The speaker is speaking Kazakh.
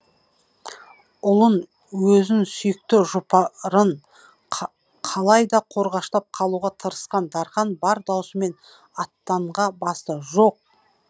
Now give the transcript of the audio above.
ұлын өзн сүйікті жұпарын қалай да қорғаштап қалуға тырысқан дархан бар даусымен аттанға басты жоқ